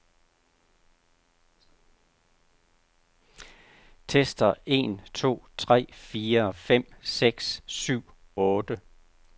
Tester en to tre fire fem seks syv otte.